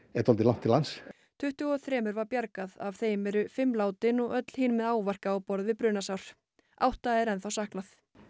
er dálítið langt til lands tuttugu og þremur var bjargað af þeim eru fimm látin og öll hin með áverka á borð við brunasár átta er enn saknað